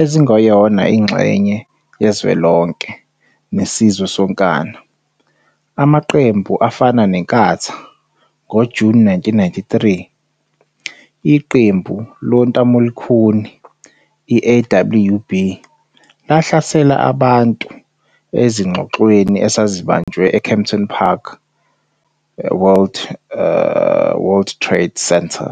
ezingeyona ingxenye yezwelonke nesizwe sonkana, amaqembu afana neNkatha, ngoJuni 1993, iqembu lontamolukhuni le-Afrikaner Weerstandsbeweging, AWB, lahlasela abantu ezingxoxweni ezazibanjelwa e-Kempton Park World Trade Centre.